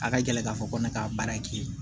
A ka gɛlɛn k'a fɔ ko ne ka baara ye kelen ye